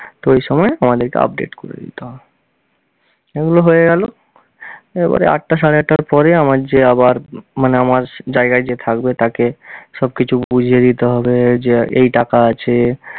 তো এই সময় আমাদেরকে update করে দিতে হয়। এগুলো হয়ে গেল এবারে আটটা সাড়ে আটটার পরে আমার যে আবার, মানে যে আমার জায়গায় যে থাকবে তাকে সবকিছু বুঝিয়ে দিতে হবে যে এই টাকা আছে